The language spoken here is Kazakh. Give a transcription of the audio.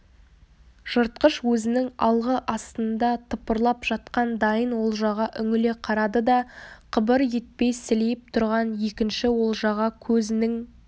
жыртқыш өзінің алғы астында тыпырлап жатқан дайын олжаға үңіле қарады да қыбыр етпей сілейіп тұрған екінші олжаға көзінің